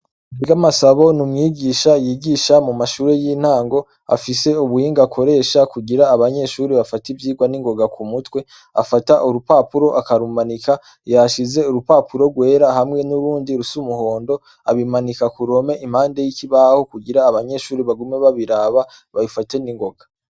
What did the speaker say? Nziramasabo n'umwigisha yigisha mu mashuri y'intango afise ubuhinga akoresha ku gira abanyeshuri bafate ivyirwa ningoga ku mutwe afata urupapuro akarumanika yahashize urupapuro rwera hamwe n'urundi rusa umuhondo abimanika kuruhome impande y'ikibaho kugira abanyeshuri bagume babiraba babifate n'ingoga.